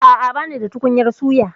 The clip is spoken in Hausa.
A'a, banida tukunyar suya.